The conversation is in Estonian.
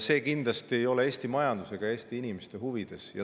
See kindlasti ei ole Eesti majanduse ega Eesti inimeste huvides.